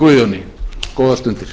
guðjóni góðar stundir